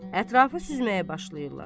Ətrafı süzməyə başlayırlar.